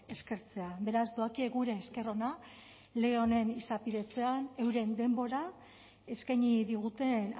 eskertzea beraz doakie gure esker ona lege honen izapidetzean euren denbora eskaini diguten